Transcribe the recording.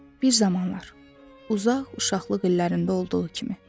Bir zamanlar uzaq uşaqlıq illərində olduğu kimi.